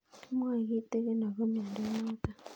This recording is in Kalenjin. Kimwae kitig'in akopo miondo notok